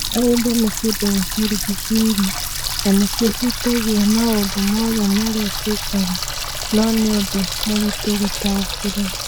Mahinda nĩ kĩndũ gĩtũrigicĩirie, na nĩ kĩhutagia maũndũ mothe marĩa twĩkaga, no nĩ ũndũ mũritũ gũtaũkĩrũo.